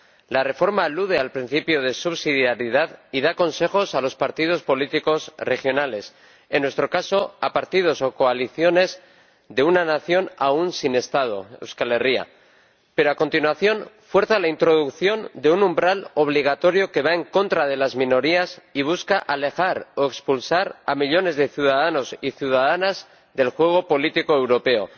La reforma alude al principio de subsidiariedad y da consejos a los partidos políticos regionales —en nuestro caso, a partidos o coaliciones de una nación aún sin Estado, Euskal Herria—, pero, a continuación, fuerza la introducción de un umbral obligatorio que va en contra de las minorías y busca alejar o expulsar a millones de ciudadanos y ciudadanas del juego político europeo.